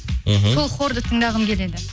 мхм сол хорды тыңдағым келеді